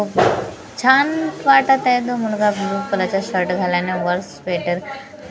छान वाटत आहे तो मुलगा ब्लू कलरचा शर्ट घाल आणि वर स स्वेटर घालेला दिसून --